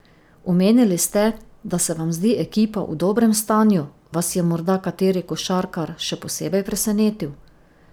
Omenili ste, da se vam zdi ekipa v dobrem stanju, Vas je morda kateri košarkar še posebej presenetil?